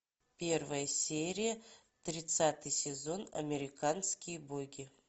первая серия тридцатый сезон американские боги